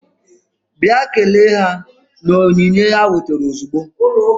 Bịa kelee ha na onyinye ha wetara ozugbo!